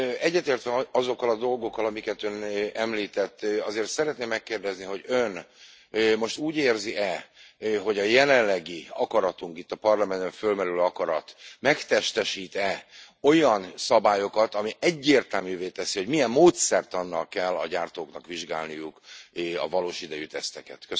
Egyetértve azokkal a dolgokkal, amiket ön említett, azért szeretném megkérdezni, hogy ön most úgy érzi e, hogy a jelenlegi akaratunk, itt a Parlamentben fölmerülő akarat megtestesít e olyan szabályokat, ami egyértelművé teszi, hogy milyen módszertannal kell a gyártóknak vizsgálniuk a valós idejű teszteket?